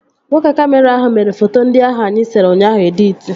Nwoke kamịra ahụ mere foto ndị ahụ anyị sere ụnyaahụ editi